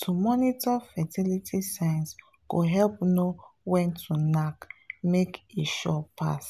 to monitor fertility signs go help know when to knack make e sure pass.